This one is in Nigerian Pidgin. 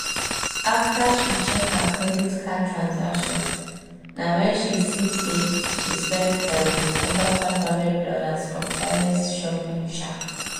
after she check her credit card transactions na wen she see say she spend um over five hundred dollars for careless shopping um